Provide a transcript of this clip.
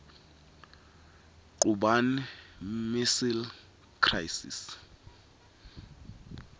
cuban missile crisis